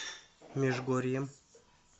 межгорьем